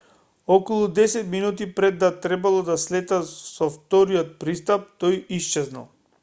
околу десет минути пред да требало да слета со вториот пристап тој исчезнал